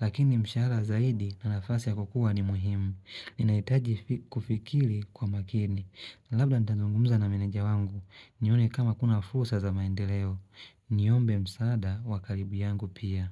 Lakini mshahara zaidi na nafasi ya kukua ni muhimu Ninahitaji kufikiri kwa makini labda nitazungumza na meneja wangu nione kama kuna fursa za maendeleo Niombe msaada wa karibu yangu pia.